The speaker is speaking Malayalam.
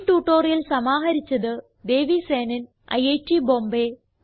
ഈ ട്യൂട്ടോറിയൽ സമാഹരിച്ചത് ദേവി സേനൻ ഐറ്റ് ബോംബേ